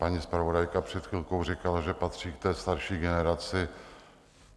Paní zpravodajka před chvilkou říkala, že patří k té starší generaci.